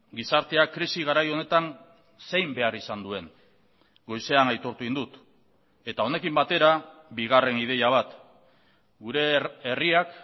gizarteak krisi garai honetan zein behar izan duen goizean aitortu egin dut eta honekin batera bigarren ideia bat gure herriak